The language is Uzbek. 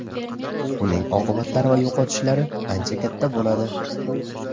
uning oqibatlari va yo‘qotishlari ancha katta bo‘ladi.